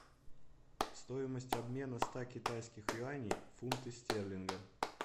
стоимость обмена ста китайских юаней в фунты стерлинга